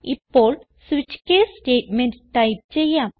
ഇപ്പോൾ switch case statement type ചെയ്യാം